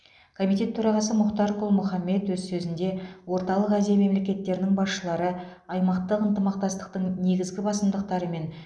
комитет төрағасы мұхтар құл мұхаммед өз сөзінде орталық азия мемлекеттерінің басшылары аймақтық ынтымақтастықтың негізгі басымдықтары мен